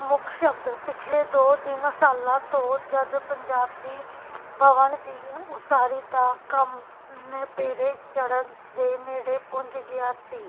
ਮੁਖਸ਼ਬਦ ਪਿਛਲੇ ਦੋ ਤਿੰਨ ਸਾਲਾਂ ਤੋਂ ਜਦ ਪੰਜਾਬੀ ਬਵਣ ਦੀ ਉਸਾਰੀ ਦਾ ਕੰਮ ਨਿਪੇੜੇ ਚੜ੍ਹਨ ਦੇ ਨੇੜੇ ਪੂੰਜ ਗਿਆ ਸੀ